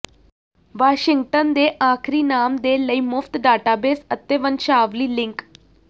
Washington ਦੇ ਆਖਰੀ ਨਾਮ ਦੇ ਲਈ ਮੁਫਤ ਡਾਟਾਬੇਸ ਅਤੇ ਵੰਸ਼ਾਵਲੀ ਲਿੰਕ